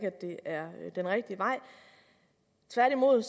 at det er den rigtige vej tværtimod